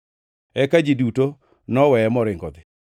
Eka ji duto noweye moringo odhi.